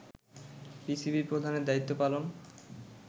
PCB প্রধানের দায়িত্ব পালন